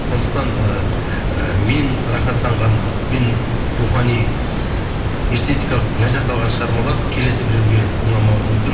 сондықтан ыыы мен рахаттанған мен рухани эстетикалық ләззат алған шығармалар келесі біреуге ұнамауы мүмкін